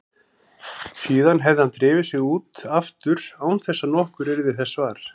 Síðan hefði hann drifið sig út aftur án þess að nokkur yrði þessa var.